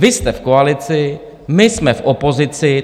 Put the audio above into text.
Vy jste v koalici, my jsme v opozici.